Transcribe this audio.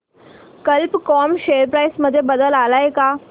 कल्प कॉम share price मध्ये बदल आलाय का